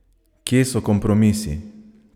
Kje so kompromisi?